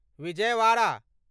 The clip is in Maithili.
विजयवाड़ा